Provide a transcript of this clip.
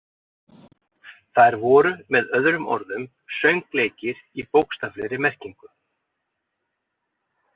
Þær voru með öðrum orðum „söngleikir“ í bókstaflegri merkingu.